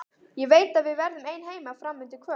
Ég veit að við verðum ein heima fram undir kvöld.